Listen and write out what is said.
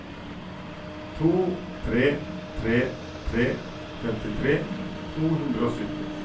to tre tre tre femtitre to hundre og sytti